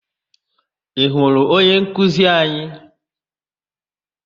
Ị hụrụ onyenkuzi anyị?